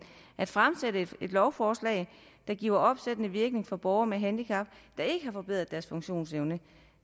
at fremsætte et lovforslag der giver opsættende virkning for borgere med handicap der ikke har forbedret deres funktionsevne